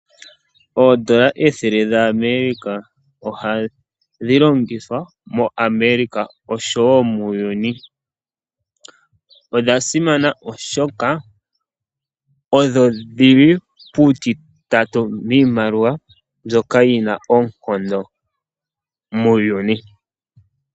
Oondola ethele dhaAmerica ohadhi longithwa moAmerica oshowo muuyuni. Odha simana oshoka odho dhi li puutitatu miimaliwa mbyoka yi na oonkondo muuyuni.